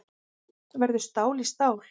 Verður stál í stál